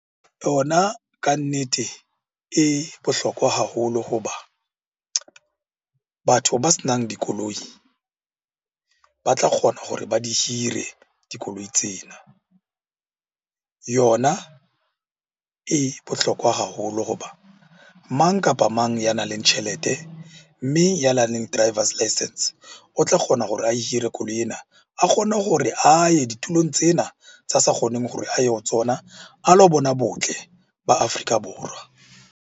Yona kannete e bohlokwa haholo ho ba batho ba senang dikoloi ba tla kgona hore ba di hire dikoloi tsena. Yona e bohlokwa haholo ho ba mang kapa mang ya nang le tjhelete, mme ya nang le driver's license o tla kgona hore a hire koloi ena a kgone hore a ye ditulong tsena tsa sa kgoneng hore a ye ho tsona. A lo bona botle ba Afrika Borwa.